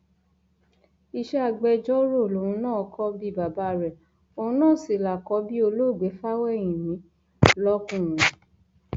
iṣẹ agbẹjọrò lòun náà kò bíi bàbá rẹ òun náà sí lákọbí olóògbé fáwẹhìnmí lọkùnrin